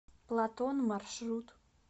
платон маршрут